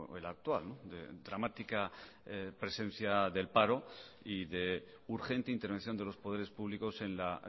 el actual de dramática presencia del paro y de urgente intervención de los poderes públicos en la